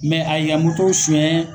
a y'i ka moto suɲɛ